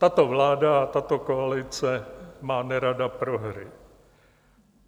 Tato vláda a tato koalice má nerada prohry.